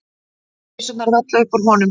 Vísurnar vella upp úr honum.